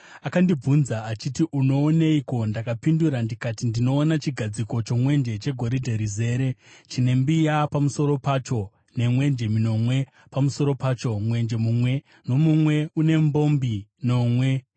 Akandibvunza achiti, “Unooneiko?” Ndakapindura ndikati, “Ndinoona chigadziko chomwenje chegoridhe rizere, chine mbiya pamusoro pacho nemwenje minomwe pamusoro pacho, mwenje mumwe nomumwe une mbombi nomwe.